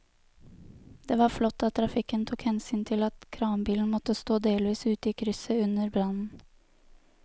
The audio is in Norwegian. Det var flott at trafikken tok hensyn til at kranbilen måtte stå delvis ute i krysset under brannen.